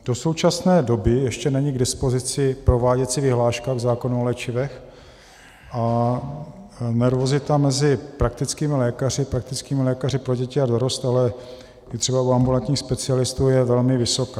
Do současné doby ještě není k dispozici prováděcí vyhláška k zákonu o léčivech a nervozita mezi praktickými lékaři, praktickými lékaři pro děti a dorost, ale i třeba u ambulantních specialistů je velmi vysoká.